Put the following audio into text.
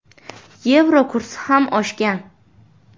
Yevro kursi ham oshgan.